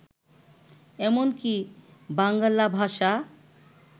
এমন কি, বাঙ্গালা ভাষা